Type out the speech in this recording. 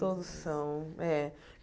Todos são. É